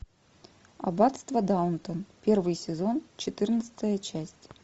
аббатство даунтон первый сезон четырнадцатая часть